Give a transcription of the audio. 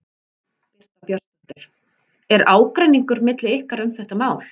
Birta Björnsdóttir: Er ágreiningur milli ykkar um þetta mál?